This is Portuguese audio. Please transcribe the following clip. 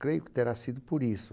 Creio que terá sido por isso.